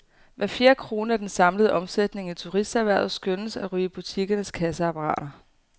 Hver fjerde krone af den samlede omsætning i turisterhvervet skønnes at ryge i butikkernes kasseapparater.